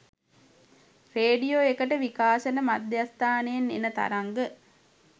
radio එකට විකාශන මධ්‍යස්ථානයෙන් එන තරංග